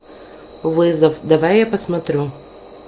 вызов давай я посмотрю